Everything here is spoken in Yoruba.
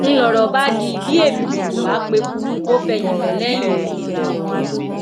ń lọrọ bá dí bí èbìtì kò bá p'ekú kò fẹyìn fẹlẹyìn ni